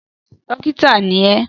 Dókítà ni ẹ!